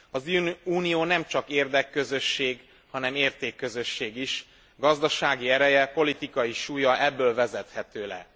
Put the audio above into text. Az Unió nem csak érdekközösség, hanem értékközösség is, gazdasági ereje, politikai súlya ebből vezethető le.